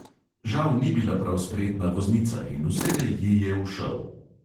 Žal ni bila prav spretna voznica in vselej ji je ušel.